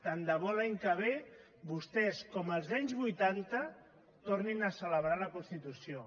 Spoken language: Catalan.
tant de bo l’any que ve vostès com als anys vuitanta tornin a celebrar la constitució